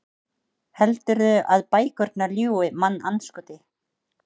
Heldurðu að bækurnar ljúgi, mannandskoti?